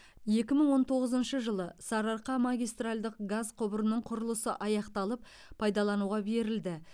екі мың он тоғызыншы жылы сарыарқа магистральдық газ құбырының құрылысы аяқталып пайдалануға берілді